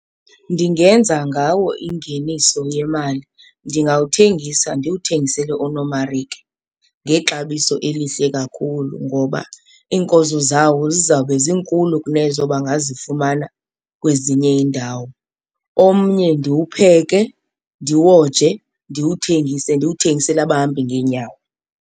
Ndingenza ngawo ingeniso yemali, ndingawuthengisela ndiwuthengisele oonomarike ngexabiso elihle kakhulu ngoba iinkozo zawo zizawube zinkulu kunezo bangazifumana kwezinye iindawo. Omnye ndiwupheke, ndiwoje, ndiwuthengise ndiwuthengisele abahambi ngeenyawo.